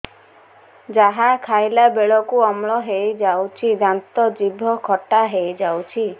ଯାହା ଖାଇଲା ବେଳକୁ ଅମ୍ଳ ହେଇଯାଉଛି ଦାନ୍ତ ଜିଭ ଖଟା ହେଇଯାଉଛି